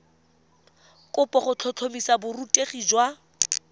kopo go tlhotlhomisa borutegi jwa